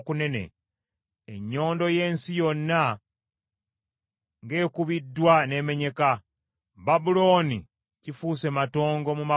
Ennyondo y’ensi yonna ng’ekubiddwa n’emenyeka! Babulooni kifuuse matongo mu mawanga!